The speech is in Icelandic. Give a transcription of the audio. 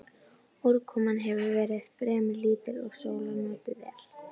Úrkoman hefur verið fremur lítil og sólar notið vel.